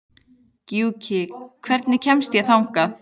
Gjúki, hvernig kemst ég þangað?